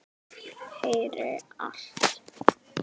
Heyri allt.